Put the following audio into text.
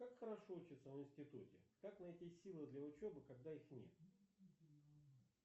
как хорошо учиться в институте как найти силы для учебы когда их нет